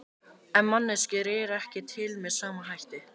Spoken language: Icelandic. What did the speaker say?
En manneskjur eru ekki til með sama hætti.